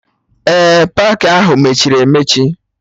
Ee, paakị ahụ mechiri emechi